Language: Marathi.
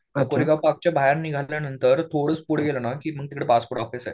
कोरेगाव पार्कच्या बाहेर निघाल्यानंतर थोडंसं पुढं गेल्यावर मग तिथं पासपोर्ट ऑफिस आहे.